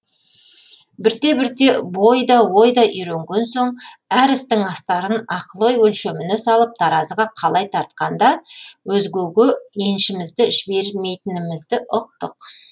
бірте бірте бой да ой да үйренген соң әр істің астарын ақыл ой өлшеміне салып таразыға қалай тартқанда өзгеге еншімізді жібермейтінімізді ұқтық